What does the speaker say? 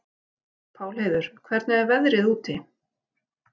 Pálheiður, hvernig er veðrið úti?